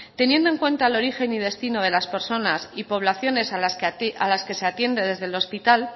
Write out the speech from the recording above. teniendo en cuenta el origen y destino de las personas y poblaciones que a las que se atiende desde el hospital